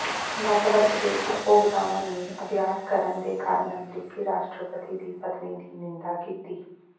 network ਦੇ ਉਪਭੋਗਤਾਵਾਂ ਨੇ ਅਭਿਆਸ ਕਰਨ ਦੇ ਕਾਰਨ ਅਮਰੀਕੀ ਰਾਸ਼ਟਰਪਤੀ ਦੀ ਪਤਨੀ ਦੀ ਨਿੰਦਾ ਕੀਤੀ